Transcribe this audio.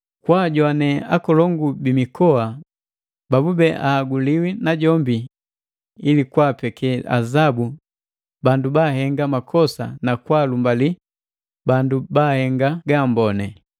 kwaajowane akolongu bi mikoa babube ahaguliwi najombi ili kwaapeke azabu bandu baahenga makosa na kwaalumbali bandu baahenga gaamboni.